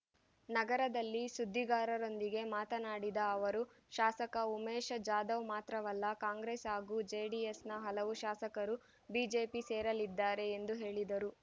ನಗರದಲ್ಲಿ ಸುದ್ದಿಗಾರರೊಂದಿಗೆ ಮಾತನಾಡಿದ ಅವರು ಶಾಸಕ ಉಮೇಶ ಜಾಧವ್‌ ಮಾತ್ರವಲ್ಲ ಕಾಂಗ್ರೆಸ್‌ ಹಾಗೂ ಜೆಡಿಎಸ್‌ನ ಹಲವು ಶಾಸಕರು ಬಿಜೆಪಿ ಸೇರಲಿದ್ದಾರೆ ಎಂದು ಹೇಳಿದರು